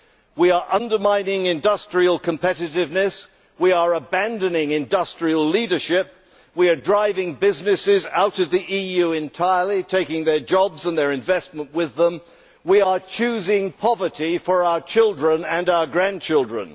We are undermining industrial competitiveness, abandoning industrial leadership, driving businesses out of the EU entirely so that they take their jobs and their investment with them, and choosing poverty for our children and our grandchildren.